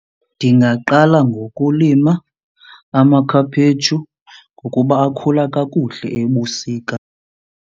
Ndingaqala ngokulima amakhaphetshu ngokuba akhula kakuhle ebusika.